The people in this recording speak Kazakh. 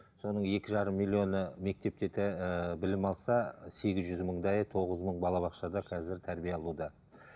соның екі жарым миллионы мектепте ііі білім алса сегіз жүз мыңдайы тоғыз мың балабақшада қазір тәрбие алуда